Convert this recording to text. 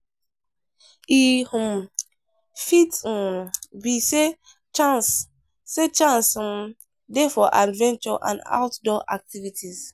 E um fit um be sey chance sey chance um dey for adventure and outdoor activities.